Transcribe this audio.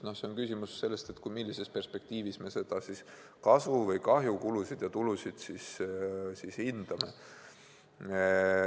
Ehk küsimus on selles, millises perspektiivis me kulusid ja tulusid hindame.